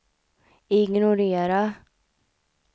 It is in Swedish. ignorera